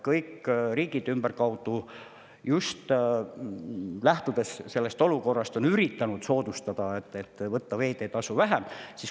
Kõik riigid ümberkaudu, just lähtudes sellest olukorrast, on üritanud teha soodustusi ja võtta veeteetasu vähem.